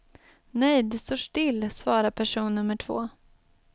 Nej det står still, svarar person nummer två.